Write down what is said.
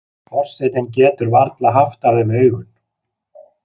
Forsetinn getur varla haft af þeim augun.